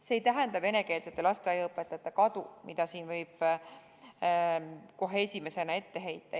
See ei tähenda venekeelsete lasteaiaõpetajate kadumist, mida siin võib kohe esimesena ette heita.